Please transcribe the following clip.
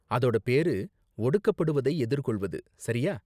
அதோட பேரு 'ஒடுக்கப்படுவதை எதிர்கொள்வது', சரியா?